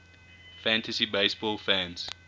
fantasy baseball fans